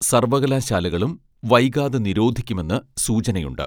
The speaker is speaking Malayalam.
സർവ്വകലാശാലകളും വൈകാതെ നിരോധിക്കുമെന്ന് സൂചനയുണ്ട്